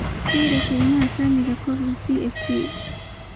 fiiri qiimaha saamiga kooxda cfc